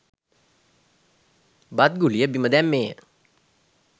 බත් ගුලිය බිම දැම්මේය